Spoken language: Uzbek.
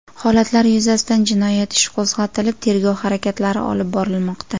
Holatlar yuzasidan jinoyat ishi qo‘zg‘atilib, tergov harakatlari olib borilmoqda.